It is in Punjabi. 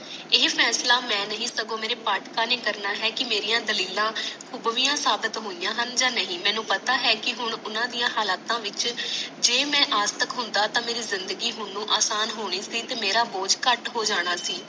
ਇਹ ਫੈਸਲਾ ਮੈ ਨਹੀਂ ਸਗੋਂ ਮਾਰੇ ਪਾਠਕਾਂ ਨੇ ਕਰਨਾ ਹੈ ਕਿ ਮਾਰੀਆਂ ਦਲੀਲ ਖੂਬ ਦੀਆਂ ਸਾਬਤ ਹੋਈਆਂ ਹਨ ਯ ਨਹੀਂ ਮੈਨੂੰ ਪਤਾ ਹ ਓਹਨਾ ਦੀਆਂ ਹਾਲਾਤ ਵਿਚ ਜੇ ਮੈ ਆਸਤਕ ਹੁੰਦਾ ਤਾ ਮਾਰੀ ਜ਼ਿੰਦਗੀ ਹੁਣ ਨੂੰ ਅਸਾਨ ਹੋਣੀ ਸੀ ਤੇ ਮਾਰਾ ਬੋੋਜ਼ ਕੱਟ ਹੋ ਜਾਣਾ ਸੀ